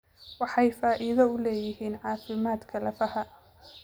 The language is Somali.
Waxay faa'iido u leeyihiin caafimaadka lafaha.